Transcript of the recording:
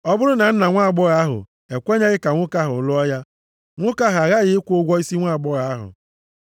Ọ bụrụ na nna nwaagbọghọ ahụ ekwenyeghị ka nwoke ahụ lụọ ya, nwoke ahụ aghaghị ịkwụ ụgwọ isi nwaagbọghọ ahụ.